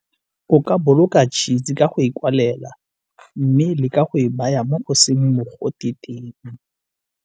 O ka boloka tšhisi ka go e koalela mme leka go e baya mo o seng mogote teng.